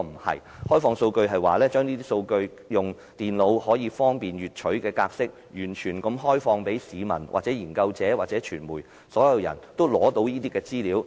開放數據的意思是，要透過方便電腦閱取的格式來提供數據，完全開放資料予全部市民、研究者和傳媒，讓他們能夠獲取實時資料。